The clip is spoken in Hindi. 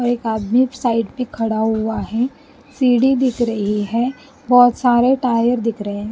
और एक आदमी साइड पे खड़ा हुआ है सीढ़ी दिख रही है बहुत सारे टायर दिख रहे हैं।